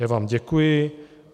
Já vám děkuji.